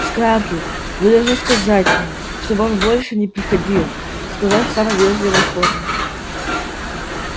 скарлетт вы должны сказать ему чтобы он больше не приходил сказать в самой вежливой форме